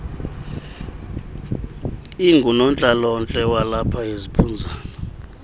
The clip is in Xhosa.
ingunontlalontle walapha eziphunzana